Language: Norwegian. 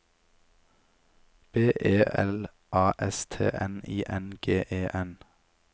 B E L A S T N I N G E N